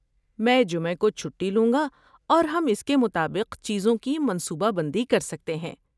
میں جمعہ کو چھٹی لوں گا اور ہم اس کے مطابق چیزوں کی منصوبہ بندی کر سکتے ہیں۔